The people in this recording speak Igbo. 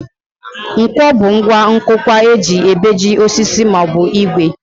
Nkwọ bụ ngwa nkụkwa e ji ebeji osisi maọbụ ìgwè